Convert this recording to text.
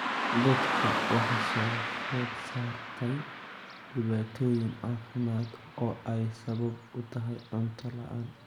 Dadka waxaa soo food saartay dhibaatooyin caafimaad oo ay sabab u tahay cunto la'aan.